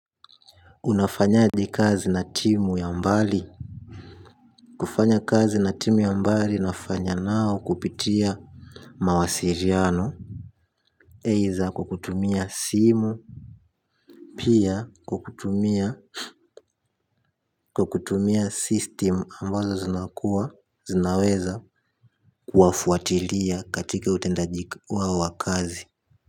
Unafanyaje kazi na timu ya mbali. Kufanya kazi na timu ya mbali nafanya nao kupitia mawasiliano Either kwa kutumia simu pia kwa kutumia kwa kutumia system ambazo zinakuwa zinaweza kuwafuatilia katika utendaji wao wa kazi.